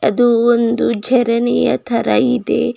ಅದು ಒಂದು ಝರಣಿಯ ತರ ಇದೆ.